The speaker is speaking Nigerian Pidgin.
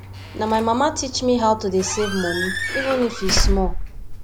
na my mama teach me how to dey save money even if e small